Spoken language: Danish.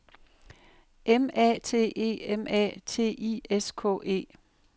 M A T E M A T I S K E